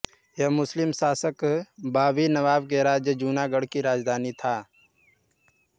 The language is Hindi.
यह मुस्लिम शासक बाबी नवाब के राज्य जूनागढ़ की राजधानी था